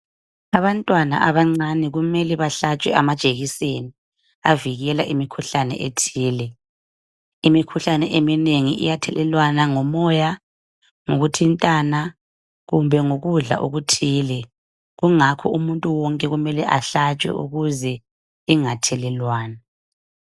Abantwana abancane kumele bahlatshwe amajekiseni avikela imikhuhlane ethile imikhuhlane eminengi iyathelelwana ngomoya ngokuthintana kumbe ngokudla okuthile kungakho umuntu wonke kumele ahlatshwe kungathelelwana.